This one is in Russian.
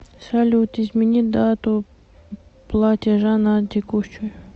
салют измени дату платежа на текущую